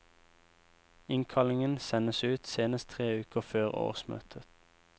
Innkallingen sendes ut senest tre uker før årsmøtet.